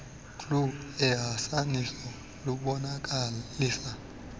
glu ehasaniso lubonakalisa